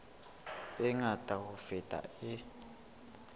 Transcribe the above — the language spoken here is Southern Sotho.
e ngata ho feta e